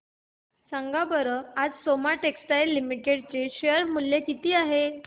सांगा बरं आज सोमा टेक्सटाइल लिमिटेड चे शेअर चे मूल्य किती आहे